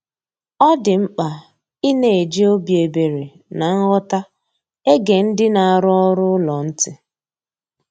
Ọ dị mkpa ịna eji obi ebere na nghọta ege ndị na-arụ ọrụ ụlọ ntị